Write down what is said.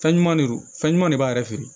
Fɛn ɲuman de don fɛn ɲuman de b'a yɛrɛ feere